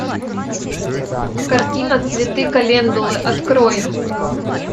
картина цветы календулы открой